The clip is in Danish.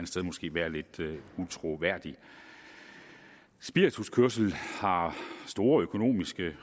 sted måske være lidt utroværdigt spirituskørsel har store økonomiske